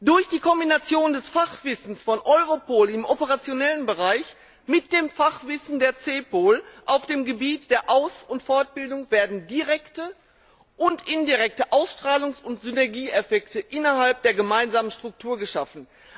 Durch die Kombination des Fachwissens von Europol im operationellen Bereich mit dem Fachwissen der CEPOL auf dem Gebiet der Aus und Fortbildung werden direkte und indirekte Ausstrahlungs und Synergieeffekte innerhalb der gemeinsamen Struktur geschaffen.